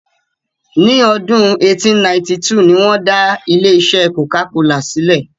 Ní ọdún 1892 ni wọn dá ilé-isẹ́ "Coca-Cola" silẹ.